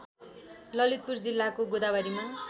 ललितपुर जिल्लाको गोदावरीमा